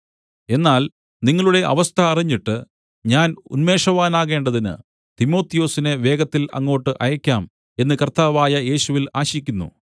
എന്നാൽ നിങ്ങളുടെ അവസ്ഥ അറിഞ്ഞിട്ട് ഞാൻ ഉന്മേഷവാനാകേണ്ടതിന് തിമൊഥെയൊസിനെ വേഗത്തിൽ അങ്ങോട്ട് അയയ്ക്കാം എന്ന് കർത്താവായ യേശുവിൽ ആശിക്കുന്നു